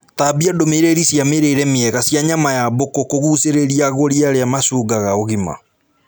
Tambia ndũmĩrĩri cia mĩrĩre mĩega cia nyama ya mbũkũ kũgucĩrĩria agũri arĩa mashungaga ũgima